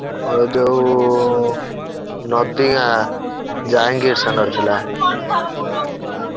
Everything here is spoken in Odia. ଏ ଯୋଉ ନଦିଗାଁ ଯାଇଙ୍ଗିର ସାଙ୍ଗେ ରେ ଥିଲା।